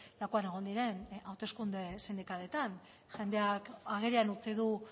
lakuan egon diren hauteskunde sindikaletan jendeak agerian utzi du